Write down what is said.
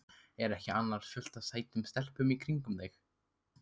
Er ekki annars fullt af sætum stelpum í kringum þig?